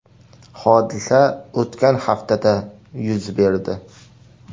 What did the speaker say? Hodisa o‘tgan haftada yuz berdi.